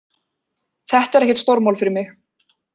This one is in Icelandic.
Þetta er ekkert stórmál fyrir mig